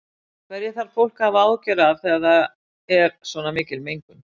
Hverju þarf fólk að hafa áhyggjur af þegar það er svona mikil mengun?